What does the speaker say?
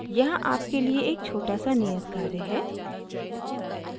यहाँ आपके लिए एक छोटा सा नियत कार्य है